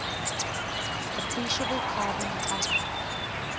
appreciable carbon content